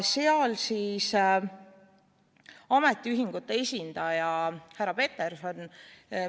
Seal ütles ametiühingute esindaja härra Peterson ...